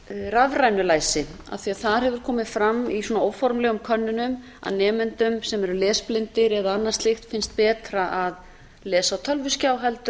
rafrænu læsi af því þar hefur komið fram í svona óformlegum könnunum að nemendum sem eru lesblindir eða annað slíkt finnst betra að lesa á tölvuskjá heldur